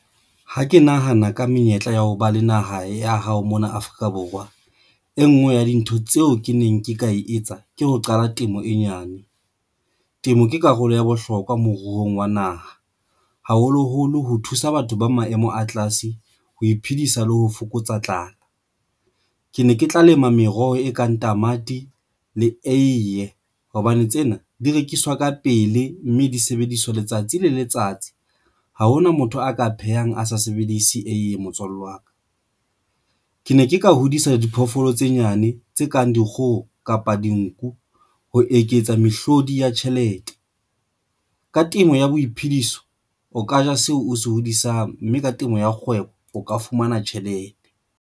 Ha ke nahana ka menyetla ya ho ba le naha ya hao mona Afrika Borwa. E nngwe ya dintho tseo ke neng ke ka e etsa ke ho qala temo e nyane. Temo ke karolo ya bohlokwa moruong wa naha, haholoholo ho thusa batho ba maemo a tlase ho iphedisa le ho fokotsa tlala. Ke ne ke tla lema meroho e kang tamati le eiye hobane tsena di rekiswa ka pele, mme disebediswa letsatsi le letsatsi, ha hona motho a ka phehang, a sa sebedise eiye motswalle wa ka. Ke ne ke ka hodisa diphoofolo tse nyane, tse kang dikgoho kapa dinku. Ho eketsa mehlodi ya tjhelete ka temo ya boiphediso o ka ja seo o se hodisang mme ka temo ya kgwebo o ka fumana tjhelete.